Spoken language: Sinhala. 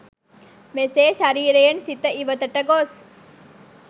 මෙසේ ශරීරයෙන් සිත ඉවතට ගොස්